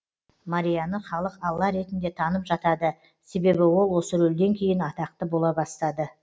марияны халық алла ретінде танып жатады себебі ол осы рөлден кейін атақты бола бастады